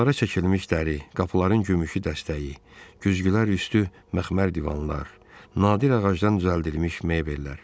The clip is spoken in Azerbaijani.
Divarlara çəkilmiş dəri, qapıların gümüşü dəstəyi, güzgülər üstü məxmər divanlar, nadir ağacdan düzəldilmiş mebellər.